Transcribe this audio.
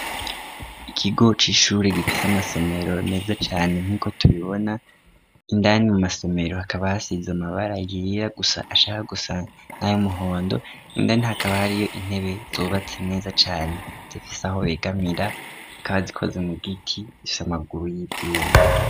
ikigo c'ishuri gifise amasomero meza cane nk'uko tubibona indani mu masomero hakaba hasize amabara yera gusa ashaka gusa nayumuhondo nindani hakaba hari yo intebe zubatse neza cane zifise aho begamira kandi zikoze mu giti zifis amaguru y'ivyuma